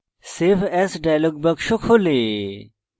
save as dialog box প্রর্দশিত হয়